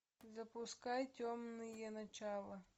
запускай темные начала